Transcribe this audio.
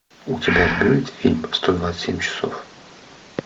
у тебя будет фильм сто двадцать семь часов